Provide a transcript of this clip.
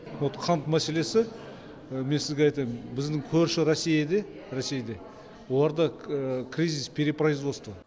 вот қант мәселесі мен сізге айтайын біздің көрші ресейде оларда кризис перепроизводство